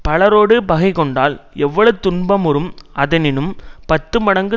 பலரோடு பகைகொண்டால் எவ்வளவு துன்பமுறும் அதனினும் பத்துமடங்கு